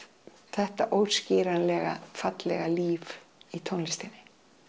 þetta fallega líf í tónlistinni